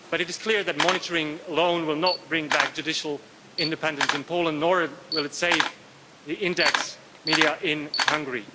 But it is clear that monitoring alone will not bring back judicial independence in Poland, nor will it save the Index media in Hungary.